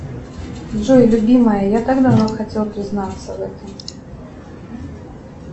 джой любимая я так давно хотел признаться в этом